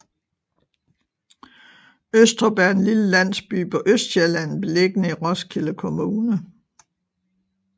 Østrup er en lille landsby på Østsjælland beliggende i Roskilde Kommune